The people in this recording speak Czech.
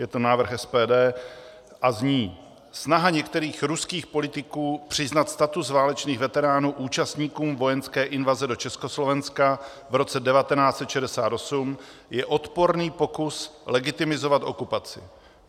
Je to návrh SPD a zní: "Snaha některých ruských politiků přiznat status válečných veteránů účastníkům vojenské invaze do Československa v roce 1968 je odporný pokus legitimizovat okupaci.